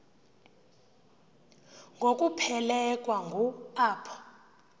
ngokuphelekwa ngu apho